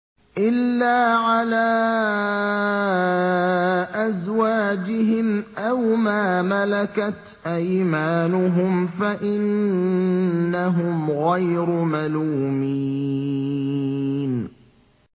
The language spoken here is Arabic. إِلَّا عَلَىٰ أَزْوَاجِهِمْ أَوْ مَا مَلَكَتْ أَيْمَانُهُمْ فَإِنَّهُمْ غَيْرُ مَلُومِينَ